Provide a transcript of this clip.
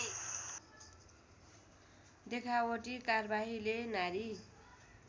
देखावटी कार्वाहीले नारी